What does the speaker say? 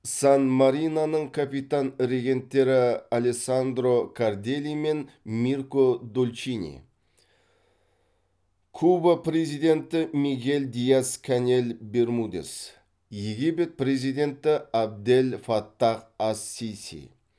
сан мариноның капитан регенттері алессандро карделли мен мирко долчини куба президенті мигель диас канель бермудес египет президенті абдель фаттах ас сиси